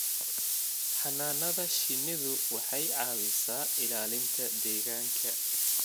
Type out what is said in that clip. Xannaanada shinnidu waxay caawisaa ilaalinta deegaanka.